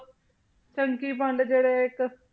ਚੰਕੀ ਪਾਂਡੇ ਜਿਹੜੇ ਇੱਕ